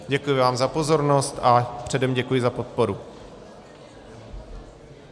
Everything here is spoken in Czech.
Děkuji vám za pozornost a předem děkuji za podporu.